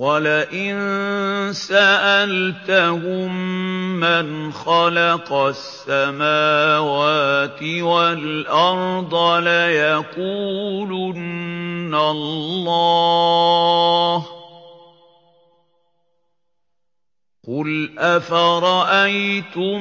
وَلَئِن سَأَلْتَهُم مَّنْ خَلَقَ السَّمَاوَاتِ وَالْأَرْضَ لَيَقُولُنَّ اللَّهُ ۚ قُلْ أَفَرَأَيْتُم